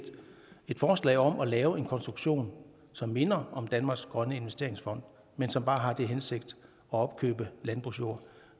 et forslag om at lave en konstruktion som minder om danmarks grønne investeringsfond men som bare har til hensigt at opkøbe landbrugsjord